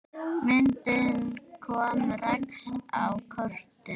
Myndin kom Rex á kortið.